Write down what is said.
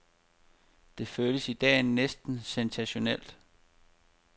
Det føles i dag næsten sensationelt.